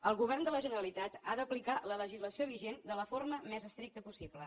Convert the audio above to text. el govern de la generalitat ha d’aplicar la legislació vigent de la forma més estricta possible